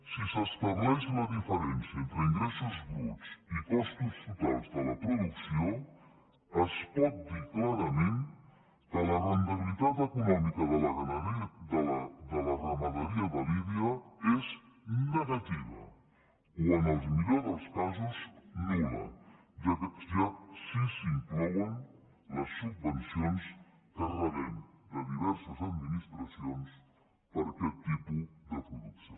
si s’estableix la diferència entre ingressos bruts i costos totals de la producció es pot dir clarament que la rendibilitat econòmica de la ramaderia de lidia és negativa o en el millor dels casos nul·la si s’hi inclouen les subvencions que rebem de diverses administracions per aquest tipus de producció